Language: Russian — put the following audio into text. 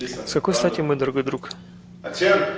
с какой стати мой дорогой друг